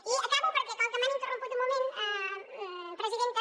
i acabo perquè com que m’han interromput un moment presidenta